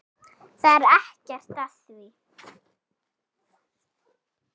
Það er ekkert að því.